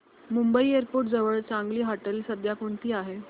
Mumbai airport जवळ चांगली हॉटेलं सध्या कोणती आहेत